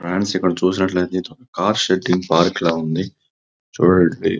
Friends ఇక్కడ చూసినటైతే ఇది ఒక కార్ షెడ్ పార్క లా ఉంది. చూడండి --